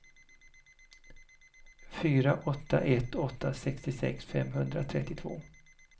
fyra åtta ett åtta sextiosex femhundratrettiotvå